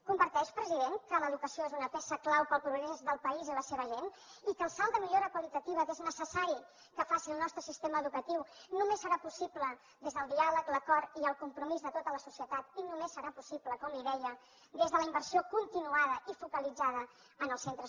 comparteix president que l’educació és una peça clau per al progrés del país i la seva gent i que el salt de millora qualitativa que és necessari que faci el nostre sistema educatiu només serà possible des del diàleg l’acord i el compromís de tota la societat i només serà possible com li deia des de la inversió continuada i focalitzada en els centres públics